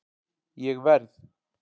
Ég verð